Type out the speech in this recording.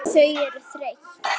Þau eru þreytt.